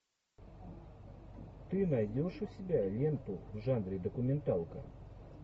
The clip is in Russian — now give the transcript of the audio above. ты найдешь у себя ленту в жанре документалка